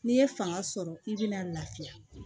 N'i ye fanga sɔrɔ k'i bɛna lafiya